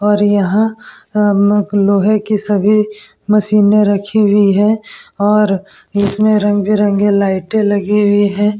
और यहाँ अम लोहे की सभी मशीने रखी हुई है और इसमें रंग बिरंगे लाइटे लगी हुई है ।